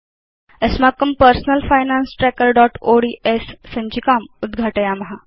अस्माकं personal finance trackerओड्स् सञ्चिकाम् उद्घाटयाम